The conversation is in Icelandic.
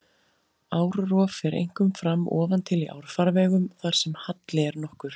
Árrof fer einkum fram ofan til í árfarvegum þar sem halli er nokkur.